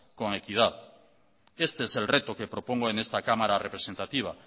con equidad este es el reto que propongo en esta cámara representativa